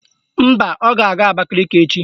Mba, ọ ga-aga Abakaliki echi